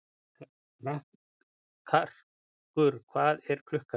Karkur, hvað er klukkan?